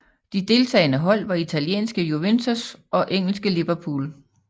De deltagende hold var italienske Juventus og engelske Liverpool